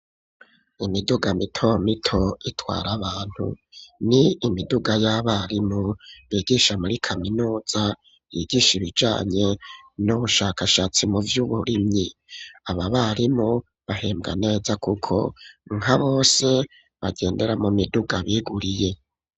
Imiduga mito mito itwara abantu, n'imiduga y'abarimu bigisha muri kaminuza yigisha ibijanye n'ubushakashatsi mu vy'uburimyi. Aba barimu bahembwa neza, kuko nka bose bagendera mu miduga biguriye.